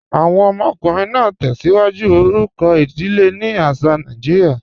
Awọn ọmọkùnrin naa tẹ́síwájú orúkọ idílé ni àṣà Nàìjíríà.